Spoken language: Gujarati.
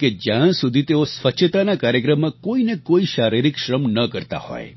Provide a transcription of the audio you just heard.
કે જ્યાં સુધી તેઓ સ્વચ્છતાના કાર્યક્રમમાં કોઈ ને કોઈ શારીરિક શ્રમ ન કરતા હોય